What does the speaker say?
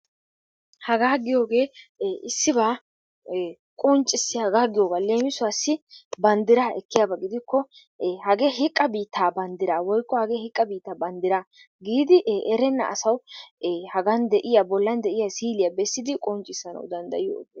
Hagaa giyooge issiba qonccissiyaaba giyoogaa. Leemisuwassi banddiraa ekkiyaaba gidikko hagee hiqqa biittaa banddraa woykko banddiraa giidi erenna asawu hagan de'iyaa bollan de'iya siiliya besiddi qonccissanawu danddayetees.